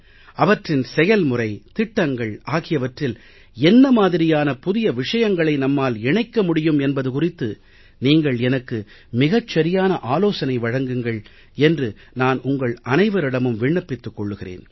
அவற்றின் செயல்முறை திட்டங்கள் ஆகியவற்றில் என்ன மாதிரியான புதிய விஷயங்களை நம்மால் இணைக்க முடியும் என்பது குறித்து நீங்கள் எனக்கு மிகச் சரியான ஆலோசனை வழங்குங்கள் என்று நான் உங்கள் அனைவரிடமும் விண்ணப்பித்துக் கொள்கிறேன்